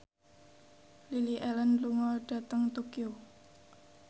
Lily Allen lunga dhateng Tokyo